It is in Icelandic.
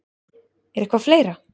Er eitthvað fleira?